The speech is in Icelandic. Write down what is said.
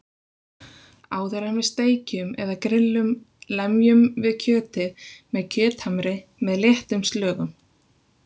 Áður en við steikjum eða grill um lemjum við kjötið með kjöthamri með léttum slögum.